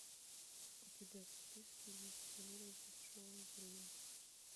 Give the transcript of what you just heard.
у тебя в списке есть теория большого взрыва